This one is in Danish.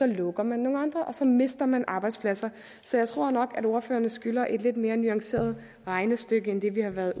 lukker nogle andre og så mister man arbejdspladser så jeg tror nok at ordførerne skylder et lidt mere nuanceret regnestykke end det vi har været